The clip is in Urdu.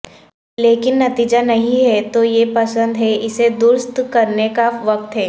لیکن نتیجہ نہیں ہے تو یہ پسند ہے اسے درست کرنے کا وقت ہے